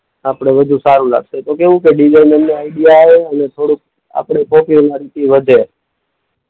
આપણે વધુ સારું લાગશે. તો કેવું કે ને આઈડિયા આવે અને થોડુંક આપણે વધે.